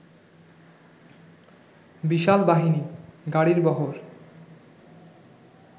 বিশাল বাহিনী, গাড়ির বহর